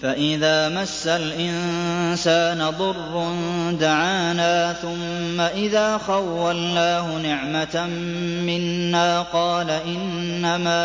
فَإِذَا مَسَّ الْإِنسَانَ ضُرٌّ دَعَانَا ثُمَّ إِذَا خَوَّلْنَاهُ نِعْمَةً مِّنَّا قَالَ إِنَّمَا